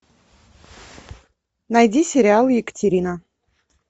найди сериал екатерина